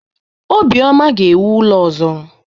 Obioma ga-ewu ụlọ ọzọ.